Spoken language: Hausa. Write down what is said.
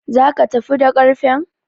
Zaka tafi da ƙarfen?